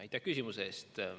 Aitäh küsimuse eest!